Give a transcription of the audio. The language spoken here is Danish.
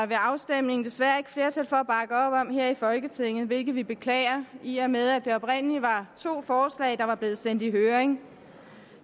ved afstemningen desværre ikke flertal for her i folketinget hvilket vi beklager i og med at der oprindeligt var to forslag der var blevet sendt i høring